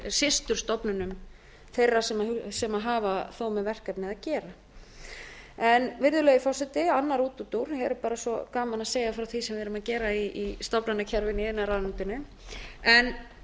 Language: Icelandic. systurstofnunum þeirra sem hafa þó með verkefnið að gera virðulegi forseti annar útúrdúr það er bara svo gaman að segja frá því sem við erum að gera í stofnanakerfinu í iðnaðarráðuneytinu en